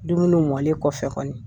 Dumunuw mɔlen kɔfɛ kɔni